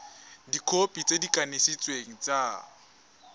dikhopi tse di kanisitsweng tsa